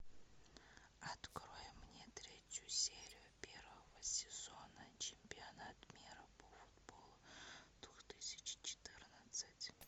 открой мне третью серию первого сезона чемпионат мира по футболу двух тысячи четырнадцать